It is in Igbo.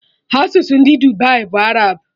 Asụsụ ndị Dubai bụ Arab